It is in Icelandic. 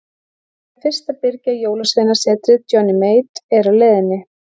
Við þurfum fyrst að byrgja Jólasveinasetrið Johnny Mate er á leiðinni.